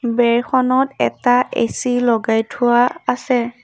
বেৰখনত এটা এ_চি লগাই থোৱা আছে।